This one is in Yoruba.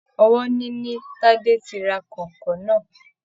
Ọwọ ní ní Tade tí rà kọ̀ìnkọ̀ìn náà.